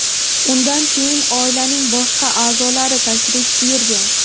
Undan keyin oilaning boshqa a’zolari tashrif buyurgan.